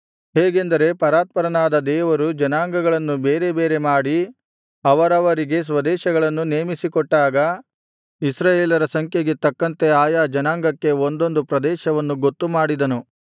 ಹೇಗೆಂದರೆ ಪರಾತ್ಪರನಾದ ದೇವರು ಜನಾಂಗಗಳನ್ನು ಬೇರೆ ಬೇರೆ ಮಾಡಿ ಅವರವರಿಗೆ ಸ್ವದೇಶಗಳನ್ನು ನೇಮಿಸಿಕೊಟ್ಟಾಗ ಇಸ್ರಾಯೇಲರ ಸಂಖ್ಯೆಗೆ ತಕ್ಕಂತೆ ಆಯಾ ಜನಾಂಗಕ್ಕೆ ಒಂದೊಂದು ಪ್ರದೇಶವನ್ನು ಗೊತ್ತು ಮಾಡಿದನು